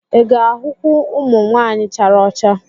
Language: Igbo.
Ị ga-ahụkwu ụmụ nwanyị chara ọcha?